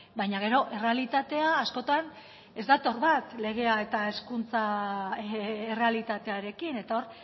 baina gero errealitatea askotan ez dator bat legea eta hezkuntza errealitatearekin eta hor